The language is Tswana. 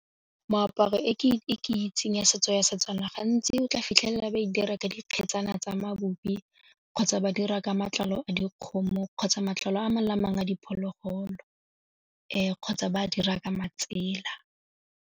Moaparo e ke itseng ya setso ya Setswana gantsi o tla fitlhela ba e dira ka dikgetsana tsa mabupi kgotsa ba dira ka matlalo a dikgomo kgotsa matlalo a a mangwe le a mangwe a diphologolo kgotsa ba dira ka matsela.